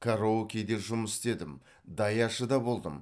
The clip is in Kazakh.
караокеде жұмыс істедім даяшы да болдым